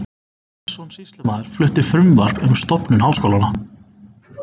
Sveinsson sýslumaður flutti frumvarp um stofnun háskóla.